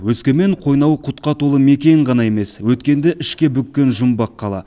өскемен қойнауы құтқа толы мекен ғана емес өткенді ішке бүккен жұмбақ қала